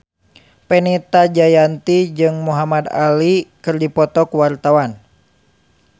Fenita Jayanti jeung Muhamad Ali keur dipoto ku wartawan